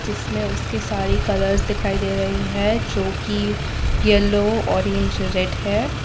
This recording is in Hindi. इसमें उसके सारे कलर्स दिखाई दे रही है जो की येलो ऑरेंज रेड है।